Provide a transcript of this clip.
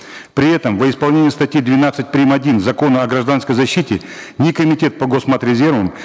при этом во исполнение статьи двенадцать прим один закона о гражданской защите ни комитет по гос мат резервам